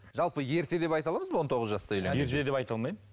жалпы ерте деп айта аламыз ба он тоғыз жасты ерте деп айта алмаймын